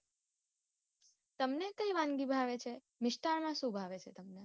તમને કઈ વાનગી ભાવે છે મિસ્ટાન્ન માં સુ ભાવે છે તમને.